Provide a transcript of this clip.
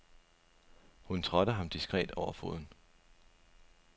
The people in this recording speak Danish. Hun trådte ham diskret over foden.